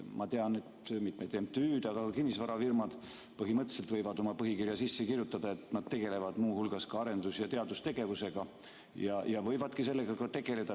Ma tean, et mitmed MTÜ-d, aga ka kinnisvarafirmad põhimõtteliselt võivad oma põhikirja sisse kirjutada, et nad tegelevad muu hulgas ka arendus- ja teadustegevusega, ja võivadki sellega tegeleda.